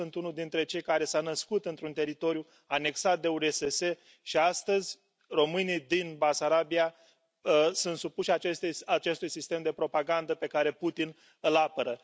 Eu sunt unul dintre cei care s au născut într un teritoriu anexat de URSS și astăzi, românii din Basarabia sunt supuși acestui sistem de propagandă pe care Putin îl apără.